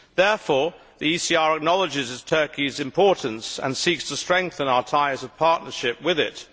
Therefore the ECR Group acknowledges Turkey's importance and seeks to strengthen our ties of partnership with it.